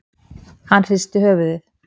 Hann hristi höfuðið.